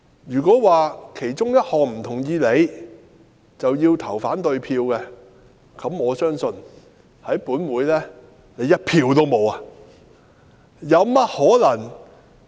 如果不同意其中一項便要投反對票，我相信政府在立法會一票也不會有。